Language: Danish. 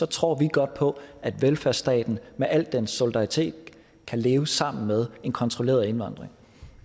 tror vi godt på at velfærdsstaten med al dens solidaritet kan leve sammen med en kontrolleret indvandring